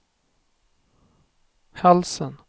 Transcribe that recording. halsen